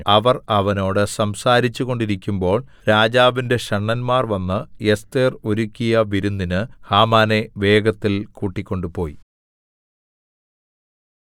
അവർ അവനോട് സംസാരിച്ചു കൊണ്ടിരിക്കുമ്പോൾ രാജാവിന്റെ ഷണ്ഡന്മാർ വന്ന് എസ്ഥേർ ഒരുക്കിയ വിരുന്നിന് ഹാമാനെ വേഗത്തിൽ കൂട്ടിക്കൊണ്ടുപോയി